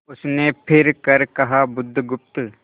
उसने फिर कर कहा बुधगुप्त